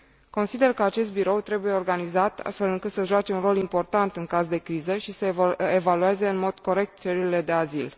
Consider că acest birou trebuie organizat astfel încât să joace un rol important în caz de criză și să evalueze în mod corect cererile de azil.